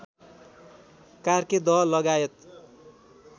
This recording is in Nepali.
कार्के दह लगायत